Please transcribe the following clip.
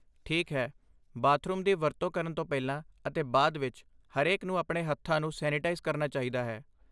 ਠੀਕ ਹੈ! ਬਾਥਰੂਮ ਦੀ ਵਰਤੋਂ ਕਰਨ ਤੋਂ ਪਹਿਲਾਂ ਅਤੇ ਬਾਅਦ ਵਿੱਚ, ਹਰੇਕ ਨੂੰ ਆਪਣੇ ਹੱਥਾਂ ਨੂੰ ਸੈਨੀਟਾਈਜ਼ ਕਰਨਾ ਚਾਹੀਦਾ ਹੈ।